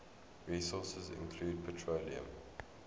resources include petroleum